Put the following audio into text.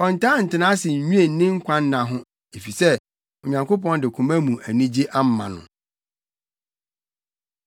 Ɔntaa ntena ase nnwen ne nkwanna ho, efisɛ Onyankopɔn de koma mu anigye ama no.